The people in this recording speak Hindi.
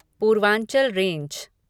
पूर्वांचल रेंज